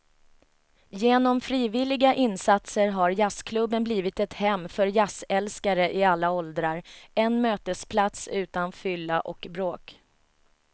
Genom frivilliga insatser har jazzklubben blivit ett hem för jazzälskare i alla åldrar, en mötesplats utan fylla och bråk.